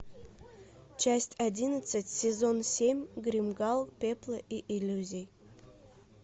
часть одиннадцать сезон семь гримгал пепла и иллюзий